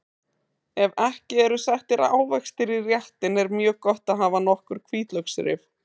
Ef ekki eru settir ávextir í réttinn er mjög gott að hafa nokkur hvítlauksrif.